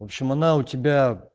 вообщем она у тебя